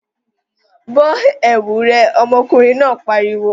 Bọ́ ẹ̀wu rẹ! ọmọkùnrin náà pariwo!